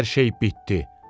Hər şey bitdi.